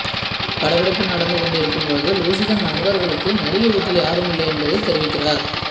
படப்பிடிப்பு நடந்துகொண்டிருக்கும்பொழுது லூசி தன் நண்பர்களுக்கு நடிகை வீட்டில் யாருமில்லை என்பதைத் தெரிவிக்கிறார்